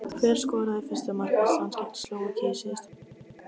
Hver skoraði fyrsta mark Íslands gegn Slóvakíu í síðustu viku?